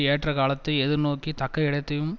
ஏற்றக்காலத்தை எதிர்நோக்கி தக்க இடத்தையும்